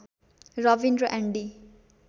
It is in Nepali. रबिन र एन्डी